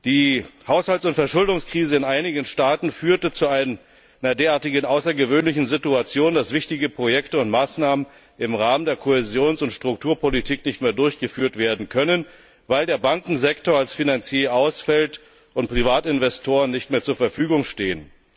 Die Haushalts und Verschuldungskrise in einigen Staaten führte zu einer derartig außergewöhnlichen Situation, dass wichtige Projekte und Maßnahmen im Rahmen der Kohäsions und Strukturpolitik nicht mehr durchgeführt werden können, weil der Bankensektor als Finanzier ausfällt, und Privatinvestoren nicht mehr zur Verfügung stehen.